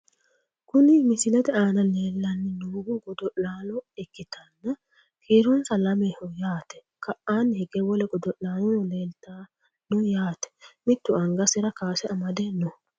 Kuni misilete aana leellanni noohu godo'laalo ikkitanna kiironsano lameho yaate , ka'anni higge wole godo'laanono leeltanno yaate, mittu angasira kaase amade no.